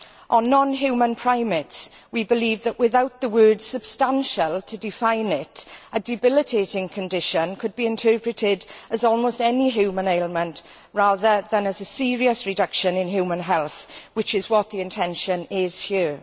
On non human primates, we believe that, without the word substantial' to define it, a debilitating condition could be interpreted as almost any human ailment rather than as a serious reduction in human health, which is what the intention is here.